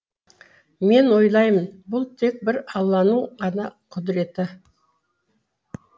мен ойлаймын бұл тек бір алланың ғана құдіреті